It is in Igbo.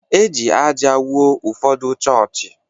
E ji ájá wuo ụfọdụ chọọchị.